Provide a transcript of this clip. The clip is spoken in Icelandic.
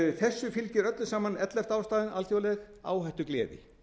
þessu fylgir öllu saman ellefta ástæðan alþjóðleg áhættugleði